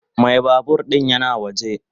Mai babur din yana waje.